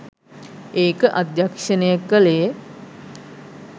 ඒක අධ්‍යක්‍ෂණය කළේ